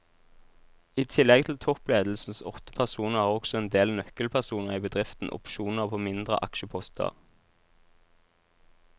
I tillegg til toppledelsens åtte personer har også en del nøkkelpersoner i bedriften opsjoner på mindre aksjeposter.